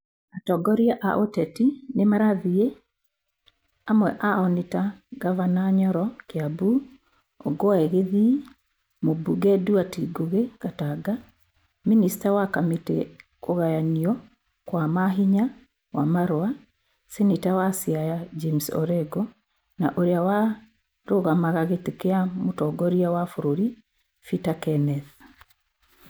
Atongoria a ũteti nĩ marathiĩ, amwe ao nĩ ta ngavana Nyoro (Kiambu), Ongwae (gĩthii), mũmbunge Nduati Ngugi (Gatanga), Mĩnĩcta wa kamĩtĩ kũgayanio kwa ma hinya Wamarwa, Seneta wa Siaya James Orengo na ũrĩa wa rugamaga gĩti kia mwĩtongoria wa bũrũri Bita Kennethi.